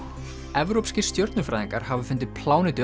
evrópskir stjörnufræðingar hafa fundið plánetu